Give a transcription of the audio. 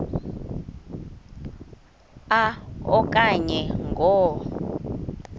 a okanye ngo